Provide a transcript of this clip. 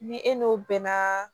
Ni e n'o bɛnna